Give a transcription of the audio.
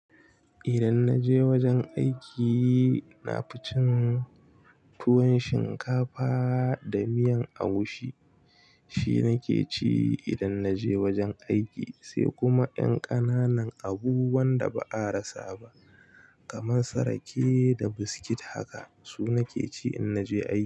Idan naje wajen aiki, naficin tuwon shinkafa da miyan agushi. Shi nake ci idan na je wurin aiki sai kuma ƴan ƙananan abu wanda ba'a rasa ba kamn su rake da biscuit haka, su. Su nake ci in naje aiki.